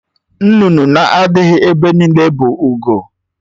Nnụnụ na-adịghị ebe niile bụ ugo